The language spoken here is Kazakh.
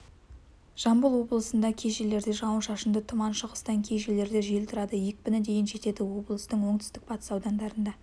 жамбыл облысында кей жерлерде жауын-шашынды тұман шығыстан кей жерлерде жел тұрады екпіні дейін жетеді облыстың оңтүстік-батыс аудандарында